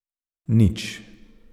Nič.